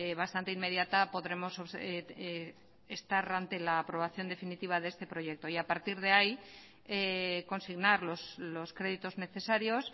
bastante inmediata podremos estar ante la aprobación definitiva de este proyecto y a partir de ahí consignar los créditos necesarios